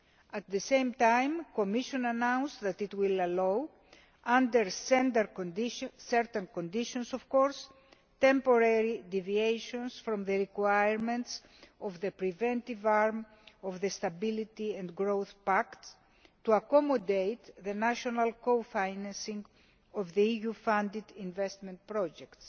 At the same time, the Commission announced that it will allow, under certain conditions of course, temporary deviations from the requirements of the preventive arm of the Stability and Growth Pact to accommodate the national cofinancing of the EU funded investment projects.